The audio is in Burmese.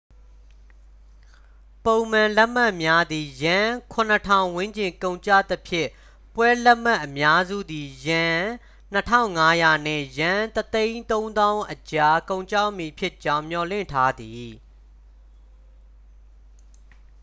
ပုံမှန်လက်မှတ်များသည် ယန်း 7,000 ဝန်းကျင်ကုန်ကျသဖြင့် ပွဲလက်မှတ်အများစုသည် ယန်း 2,500 နှင့် ယန်း 130,000 အကြား ကုန်ကျမည်ဖြစ်ကြောင်း မျှော်လင့်ထားသည်